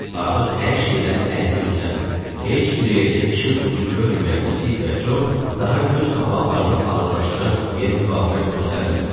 Artıq hər şeydən əlini üzən, heç bir yerdə işıq ucu görməyən Stiv və Cob daha göz qapaqlarını ağırlaşdıran yuxuya müqavimət göstərmədilər.